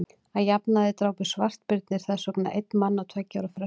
að jafnaði drápu svartbirnir þess vegna einn mann á tveggja ára fresti